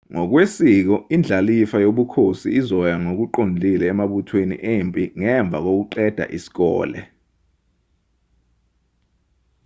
ngokwesiko indlalifa yobukhosi izoya ngokuqondile emabuthweni empi ngemva kokuqeda isikole